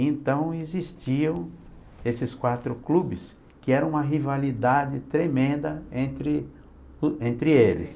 Então, existiam esses quatro clubes, que era uma rivalidade tremenda entre entre eles.